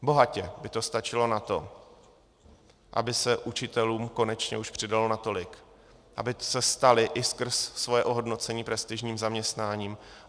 Bohatě by to stačilo na to, aby se učitelům konečně už přidalo natolik, aby se stali i skrz svoje ohodnocení prestižním zaměstnáním.